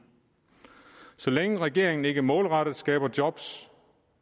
så længe regeringen ikke målrettet skaber job